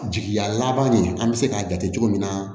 Jigiya laban nin an bɛ se k'a jate cogo min na